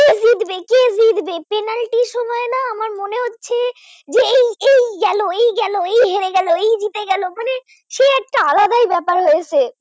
ভালোই ব্যাপার হয়েছে।